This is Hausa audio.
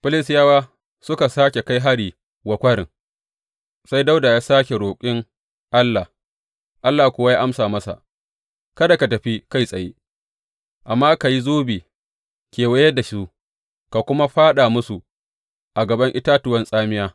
Filistiyawa suka sāke kai hari wa kwarin; sai Dawuda ya sāke roƙi Allah, Allah kuwa ya amsa masa, Kada ka tafi kai tsaye, amma ka yi zobe kewaye da su, ka kuma fāɗa musu a gaban itatuwan tsamiya.